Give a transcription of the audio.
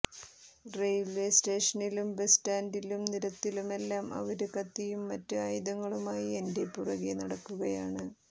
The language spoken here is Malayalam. റെയില്വേ സ്റ്റേഷനിലും ബസ് സ്റ്റാന്ഡിലും നിരത്തിലുമെല്ലാം അവര് കത്തിയും മറ്റ് ആയുധങ്ങളുമായി എന്റെ പുറകെ നടക്കുകയാണ്